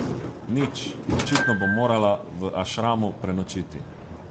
Nič, očitno bom morala v ašramu prenočiti ...